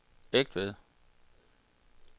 Egtved